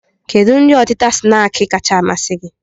Kedụ nri ọtịta snaakị kacha amasị gị?